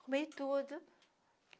Comi tudo.